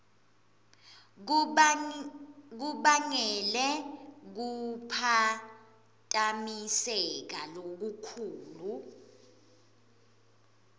kubangele kuphatamiseka lokukhulu